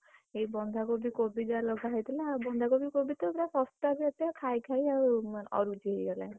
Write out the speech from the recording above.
ଏଇ ବନ୍ଧାକୋବି କୋବି ତ ଯାହା ଲଗାହେଇଥିଲା ବନ୍ଧାକୋବି କୋବିତ ପୁରା, ଶସ୍ତା ବି ଏତେ ଖାଇ ଖାଇ ଅରୁଚି ହେଇଗଲାଇ।